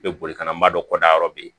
Bɛ boli kana madɔ kɔdanyɔrɔ bɛ yen